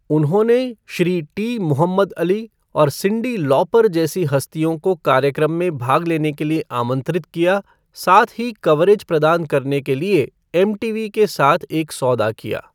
उन्होंने Shri T Muhammad Ali और Cyndi Lauper जैसी हस्तियों को कार्यक्रम में भाग लेने के लिए आमंत्रित किया, साथ ही कवरेज प्रदान करने के लिए एमटीवी के साथ एक सौदा किया।